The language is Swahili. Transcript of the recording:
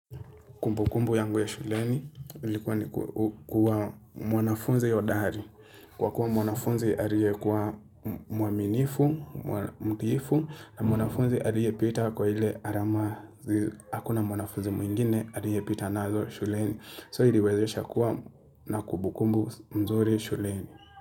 Kumbukumbu yangu ya shuleni, ilikuwa ni kuwa mwanafunzi hodari. Kwa kuwa mwanafunzi alie kuwa muaminifu, mtiifu, na mwanafunzi alie pita kwa ile arama. Hakuna mwanafunzi mwingine, alie pita nazo shuleni. So iliwezesha kuwa na kumbukumbu mzuri shuleni.